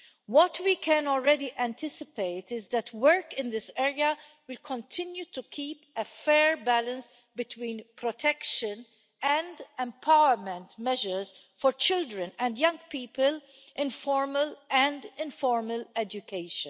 What we can already anticipate is that work in this area will continue to keep a fair balance between protection and empowerment measures for children and young people in formal and informal education.